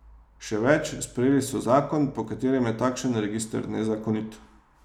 Še več, sprejeli so zakon, po katerem je takšen register nezakonit.